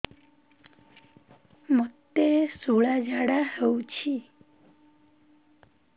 ମୋତେ ଶୂଳା ଝାଡ଼ା ହଉଚି